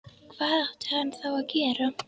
Hvað átti hann þá að gera?